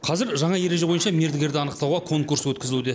қазір жаңа ереже бойынша мердігерді анықтауға конкурс өткізілуде